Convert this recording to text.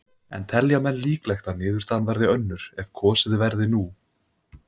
En telja menn líklegt að niðurstaðan verði önnur ef kosið verði nú?